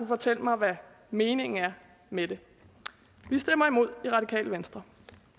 fortælle mig hvad meningen er med det vi stemmer imod i radikale venstre